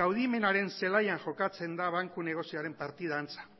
kaudimenaren zelaian jokatzen da banku negozioaren partida antza